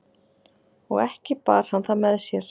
og ekki bar hann það með sér